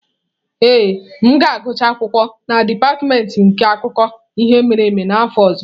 Ee, m ga-agụcha akwụkwọ na dipatịmentị nke akụkọ ihe mere eme n'afọ ọzọ.